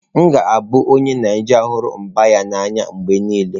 M ga-abụ onye Naijiria hụrụ mba ya n'anya mgbe niile.